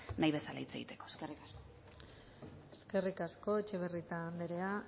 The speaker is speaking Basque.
nahi bezala hitz egiteko eskerrik asko eskerrik asko etxebarrieta anderea